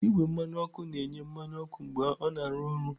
Igwe mmanụ ọkụ na-enye mmanụ ọkụ mgbe ọ na-arụ ọrụ.